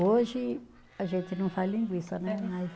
Hoje a gente não faz linguiça, né? Mas